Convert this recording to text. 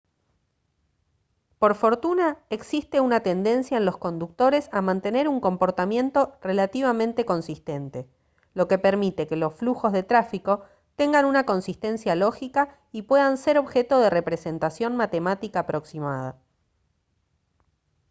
por fortuna existe una tendencia en los conductores a mantener un comportamiento relativamente consistente lo que permite que los flujos de tráfico tengan una consistencia lógica y puedan ser objeto de representación matemática aproximada